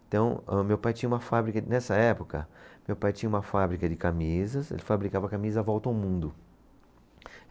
Então, o meu pai tinha uma fábrica, nessa época, meu pai tinha uma fábrica de camisas, ele fabricava a camisa Volta ao Mundo.